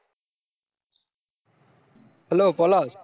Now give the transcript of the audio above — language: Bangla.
hello পলাশ